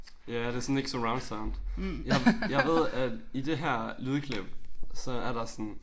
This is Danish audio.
Ja det sådan ikke surroundsound men jeg ved at i det her lydklip så er der sådan